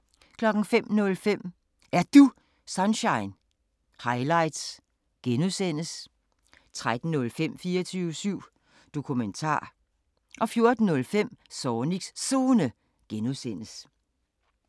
05:05: Er Du Sunshine? – highlights (G) 13:05: 24syv Dokumentar 14:05: Zornigs Zone (G)